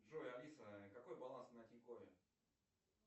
джой алиса какой баланс на тинькове